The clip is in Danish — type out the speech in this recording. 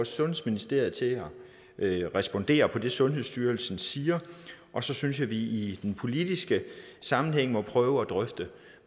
sundhedsministeriet til at respondere på det sundhedsstyrelsen siger og så synes jeg vi i den politiske sammenhæng må prøve at drøfte